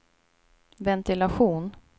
ventilation